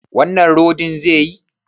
Wannan rodin zaiyi?